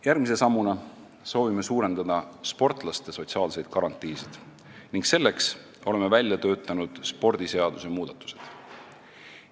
Järgmise sammuna soovime suurendada sportlaste sotsiaalseid garantiisid, milleks oleme välja töötanud spordiseaduse muudatused.